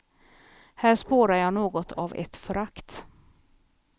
Här spårar jag något av ett förakt.